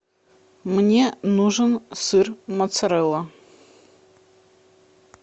мне нужен сыр моцарелла